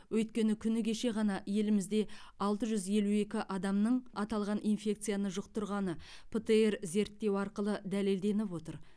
өйткені күні кеше ғана елімізде алты жүз елу екі адамның аталған инфекцияны жұқтырғаны птр зерттеу арқылы дәлелденіп отыр